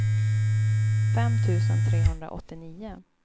fem tusen trehundraåttionio